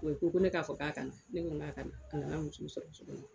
U ko ko ne k'a fɔ k'a na ne ko k'a ka nana muso sɔrɔ